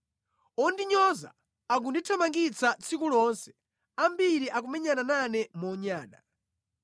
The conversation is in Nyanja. Ondinyoza akundithamangitsa tsiku lonse, ambiri akumenyana nane monyada.